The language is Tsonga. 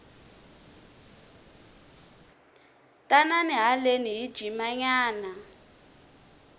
tanani haleni hi jima nyana